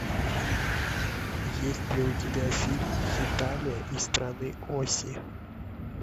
есть ли у тебя фильм хеталия и страны оси